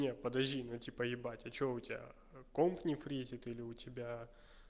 не подожди ну типа ебать а что у тебя комп не фрезит или у тебя